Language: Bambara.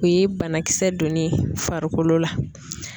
O ye banakisɛ donnen ye farikolo la.